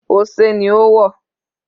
Ose ni ó wọ̀.